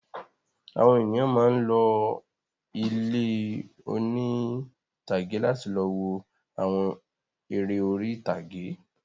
Àwọn ènìyàn máa ń lọ ilé oní-ìtàgé láti lọ wo àwọn eré orí-ìtàgé.